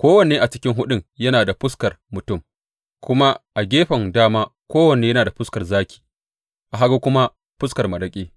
Kowanne a cikin huɗun yana da fuskar mutum, kuma a gefen dama kowanne yana da fuskar zaki, a hagu kuma fuskar maraƙi;